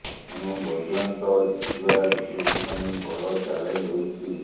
ଏଣୁ ବୈଜୟନ୍ତ ଜିତିବା ବିଜେପି ପାଇଁ ବଡ଼ ଚାଲେଞ୍ଜ ହୋଇଛି